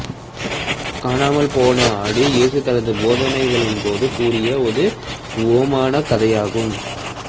காணாமல் போன ஆடு இயேசு தனது போதனைகளின் போது கூறிய ஒரு உவமானக் கதையாகும்